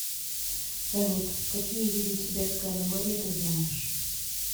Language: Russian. салют какие виды тибетское нагорье ты знаешь